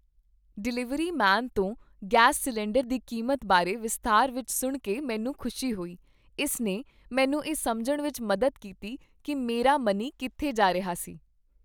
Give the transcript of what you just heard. Delivery man ਤੋਂ gas cylinder ਦੀ ਕੀਮਤ ਬਾਰੇ ਵਿਸਥਾਰ ਵਿੱਚ ਸੁਣ ਕੇ ਮੈਨੂੰ ਖੁਸ਼ੀ ਹੋਈ। ਇਸ ਨੇ ਮੈਨੂੰ ਇਹ ਸਮਝਣ ਵਿੱਚ ਮਦਦ ਕੀਤੀ ਕੀ ਮੇਰਾ ਮਨੀ ਕਿੱਥੇ ਜਾ ਰਿਹਾ ਸੀ।